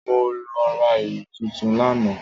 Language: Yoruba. Mo lọ ra ìlú tuntun lánàá.